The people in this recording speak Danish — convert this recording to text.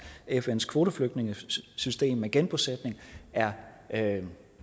fns kvoteflygtningesystem med genbosætning er